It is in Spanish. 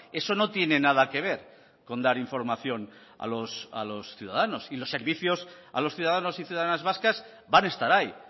eso no tiene nada que ver con dar información a los ciudadanos y los servicios a los ciudadanos y ciudadanas vascas van a estar ahí